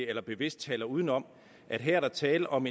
eller bevidst taler uden om at her er der tale om